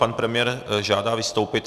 Pan premiér žádá vystoupit.